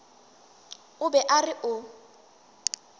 o be a re o